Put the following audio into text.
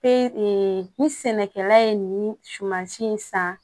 ni sɛnɛkɛla ye nin sumansi in san